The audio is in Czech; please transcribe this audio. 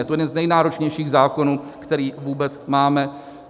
Je to jeden z nejnáročnějších zákonů, který vůbec máme.